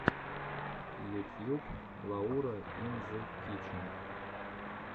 ютьюб лаура ин зе кичен